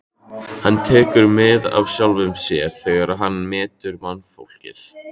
Hann tekur mið af sjálfum sér þegar hann metur mannfólkið.